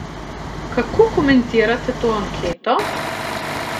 Kako komentirate to anketo?